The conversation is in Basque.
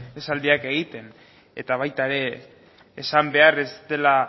esaldiak egiten eta baita era esan behar ez dela